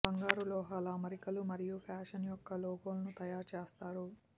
బంగారు లోహాల అమరికలు మరియు ఫ్యాషన్ యొక్క లోగోను తయారు చేస్తారు